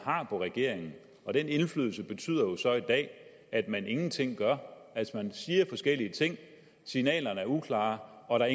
har på regeringen for den indflydelse betyder jo så i dag at man ingenting gør altså man siger forskellige ting signalerne er uklare og der